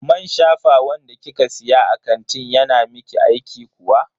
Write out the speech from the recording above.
Man shafawan da kika siya a kantin yana miki aiki kuwa?